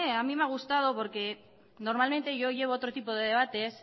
a mí me ha gustado porque normalmente yo llevo otro tipo de debates